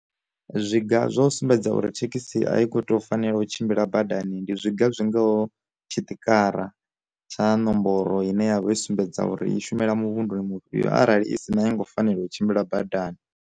Zwi ga zwa u sumbedza uri thekhisi a i kho tea u fanela u tshimbila badani, ndi zwinga zwingaho tshi tikara tsha nomboro ine yavha i sumbedza uri i shumela mu vhunḓuni mufhio arali i si na ya ngo fanela u tshimbila badani.